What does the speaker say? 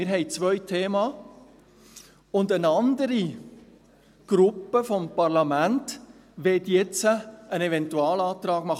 Wir haben zwei Themen, und eine andere Gruppe des Parlaments möchte jetzt einen Eventualantrag machen.